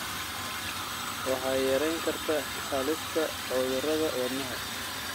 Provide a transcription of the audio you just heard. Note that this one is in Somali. waxay yarayn kartaa halista cudurrada wadnaha.